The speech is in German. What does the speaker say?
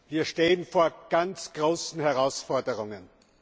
Wir stehen vor ganz großen Herausforderungen!